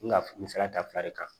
N ka misaliya ta fila de kan